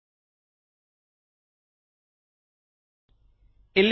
ಇಲ್ಲಿ relational operators ಗಳ ಪಟ್ಟಿ ಇದೆ